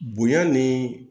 Bonya ni